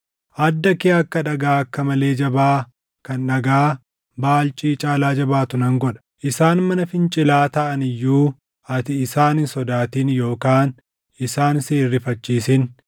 Adda kee akka dhagaa akka malee jabaa kan dhagaa baalcii caalaa jabaatuu nan godha. Isaan mana fincilaa taʼan iyyuu ati isaan hin sodaatin yookaan isaan si hin rifachiisin.”